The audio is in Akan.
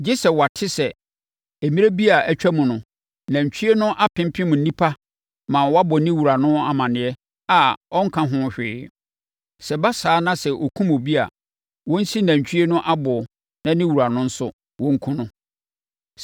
gye sɛ wɔate sɛ mmerɛ bi a atwam no, nantwie no pempem nnipa ma wɔabɔ ne wura no amaneɛ a ɔnka ho hwee; sɛ ɛba saa na sɛ ɔkum obi a, wɔnsi nantwie no aboɔ na ne wura no nso, wɔnkum no.